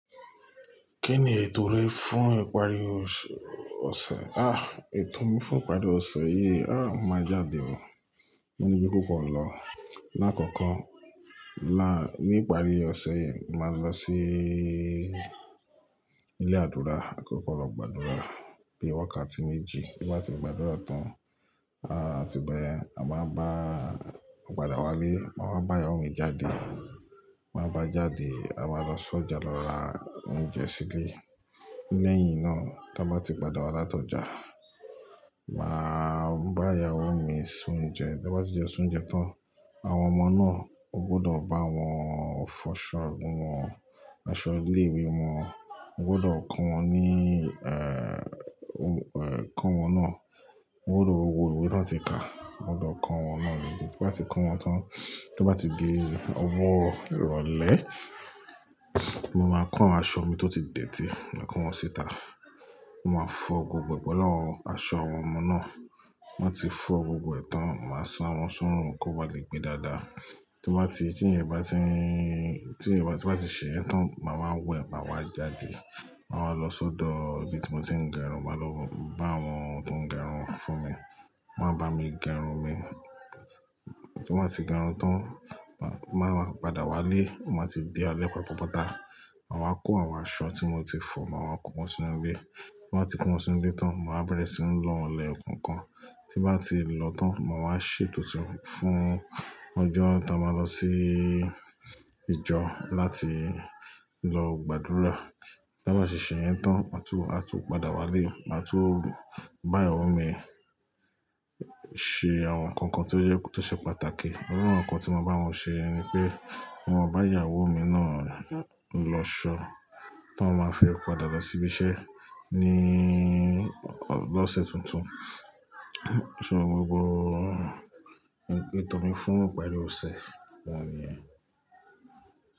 Kí ni ètò rẹ fún ìparí ọ̀sẹ̀? Àh! Ètò mi fún ìparí ọ̀sẹ̀ yìí, áàh! Máa jáde o. Mo níbí púpọ̀ lọ. Láàkọ́kọ́ la ní ìparí ọ̀sẹ̀ yìí, màá lọ sí ilé àdúrà àkọ́kọ́ lọ gbàdúrà bí i wákàtí méjì. Bí bá ti gbàdúrà tán, aàh! Àti báyẹn, a máa bá padà wálé, máa wá bá ìyàwó mi jáde. Máa bá a jáde, a máa lọ sójà lọ ra oúnjẹ sílé. Lẹ́yìn náà, tí a bá ti padà wá láti ọjà, màá bá ìyàwó mi ṣún oúnjẹ. Tí a bá ti jẹun ṣún oúnjẹ tán, àwọn ọmọ náà, o gbọdọ̀ bá wọn fọṣọ ọgbọ̀n wọn, aṣọ ilé-ìwé wọn. O gbọdọ̀ kàn wọ́n ní, eh! Kàn wọ́n náà. O gbọdọ̀ wo ìwé tí wọ́n ti kà. O gbọdọ̀ kàn wọ́n náà níbí. Bí bá ti kàn wọ́n tán, tí bá ti di ọwọ́ ìrọ̀lẹ́, mo máa kàn aṣọ mi tó ti dẹ̀ tì, máa kàn wọ́n síta. Mo máa fọ gbogbo ẹ pẹlu àwọn aṣọ àwọn ọmọ náà. Wọn máa ti fọ̀ gbogbo ẹ̀tàn, màá ṣán wọn súnrun kó ba lè gbe dáadáa. Tí wọ́n bá ti, tí ẹ̀ bá ti, tí ẹ̀ bá ti ṣe yẹn tán, màá wẹ, màá wá jáde. Màá wá lọ sọ́dọ̀ ibi tí mo ti ń gẹrun, màá lọ bá àwọn tó ń gẹrun fún mi, wọ́n máa bá mi gẹrun mi. Tí wọ́n bá ti gẹrun tán, màá padà wálé. Mo máa ti di alépa pọ́pọ́ta. Màá wá kó àwọn aṣọ tí mo ti fọ, màá wá kó wọn sí inú ilé. Bí wọ́n bá ti kó wọn sí inú ilé tán, màá bẹ̀rẹ̀ sí ń lọ ọlẹ kankan. Tí bá ti lọ tán, màá wá ṣètò títún fún ọjọ́ tí a máa lọ sí ìjọ láti lọ gbàdúrà. Tí a bá ti ṣe yẹn tán, a tún, a tún padà wálé, a tún bá ìyàwó mi ṣe àwọn nǹkan tí ó jẹ́, tí ó ṣe pàtàkì. Ọ̀kan nǹkan tí màá bá wọn ṣe ni pé, mo máa bá ìyàwó mi náà lọ ṣọ tó máa fẹ́ padà lọ sí ibi iṣẹ́ ní ọ̀sẹ̀ tuntun. So gbogbo ètò mi fún ìparí ọ̀sẹ̀ wọ̀nyí ni.